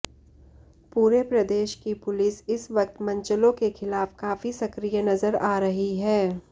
पूरे प्रदेश की पुलिस इस वक्त मनचलों के खिलाफ काफी सक्रिय नजर आ रही है